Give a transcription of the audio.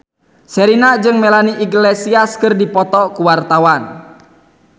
Sherina jeung Melanie Iglesias keur dipoto ku wartawan